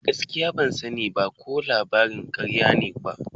Gaskiya, ban sani ko labarin karya ne ba.